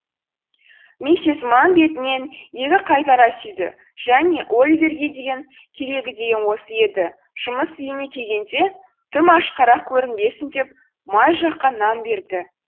миссис манн бетінен екі қайтара сүйді және оливерге деген керегі де осы еді жұмыс үйіне келгенде тым ашқарақ көрінбесін деп май жаққан нан берді